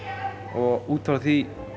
og út frá því